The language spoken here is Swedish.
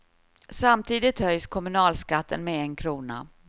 Samtidigt höjs kommunalskatten med en krona.